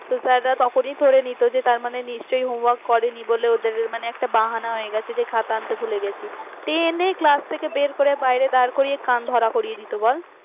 তো sir রা তখনই ধরে নিত যে তার মানে নিশ্চয়ই homework করেনি বলে ওদের একটা বাহানা হয়ে গেছে যে খাতা আনতে ভুলে গেছি টেনে class থেকে বার করে বাইরে দার করিয়ে কান ধরা করিয়ে দিত বল